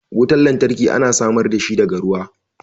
Wutan lantarki ana samar da shi daga ruwa.